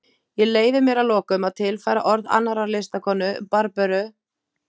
Ég leyfi mér að lokum að tilfæra orð annarrar listakonu, Barböru